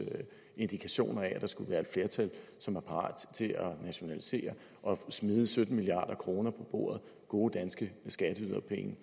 indikationer af at der skulle være et flertal som er parat til at nationalisere og smide sytten milliard kroner gode gode danske skatteyderpenge